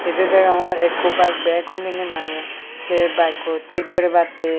indi deyongor ikko bike bag huline se bike koi thik guribatte.